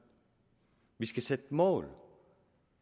vi skal sætte mål